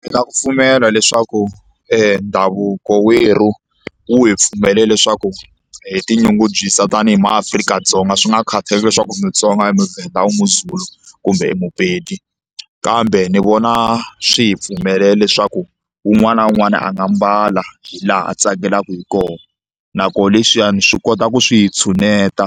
Ndzi na ku pfumela leswaku e ndhavuko werhu wu hi pfumelela leswaku hi tinyungubyisa tanihi maAfrika-dzonga swi nga khataleki leswaku i Mutsonga i muVenda wu muZulu kumbe muPedi kambe ni vona swi hi pfumelela leswaku wun'wana na wun'wana a nga hi mbala laha a tsakelaka hi kona na koho leswiyani swi kota ku swi hi tshuneta